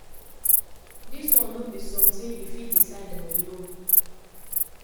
um di order now um dey on hold as di case make am through di courts. di courts.